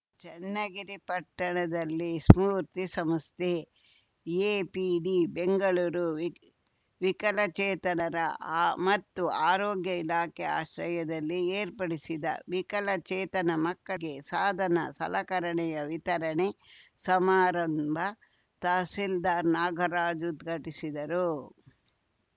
ಚನ್ನಗಿರಿ ಪಟ್ಟಣದಲ್ಲಿ ಸ್ಫೂರ್ತಿ ಸಮಸ್ಥೆ ಎಪಿಡಿ ಬೆಂಗಳೂರು ವಿಕ್ ವಿಕಲಚೇತನರ ಆ ಮತ್ತು ಆರೋಗ್ಯ ಇಲಾಖೆ ಆಶ್ರಯದಲ್ಲಿ ಏರ್ಪಡಿಸಿದ್ದ ವಿಕಲ ಚೇತನ ಮಕ್ಕಳಿಗೆ ಸಾಧನಸಲಕರಣೆಯ ವಿತರಣೆ ಸಮಾರಂಭ ತಹಸೀಲ್ದಾರ್‌ ನಾಗರಾಜ್‌ ಉದ್ಘಾಟಿಸಿದರು